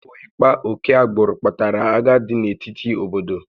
Ọ bụ ịkpa oke agbụrụ kpatara agha dị n'etiti obodo